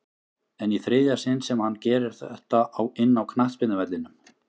En í þriðja sinn sem hann gerir þetta inná knattspyrnuvellinum?